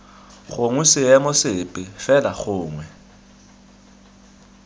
gongwe seemo sepe fela gongwe